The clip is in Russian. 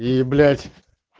и блять